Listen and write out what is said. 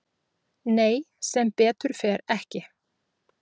Nei sem betur fer ekki